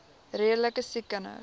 redelike siek kinders